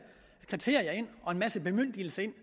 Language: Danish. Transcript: kriterier ind og en masse bemyndigelse ind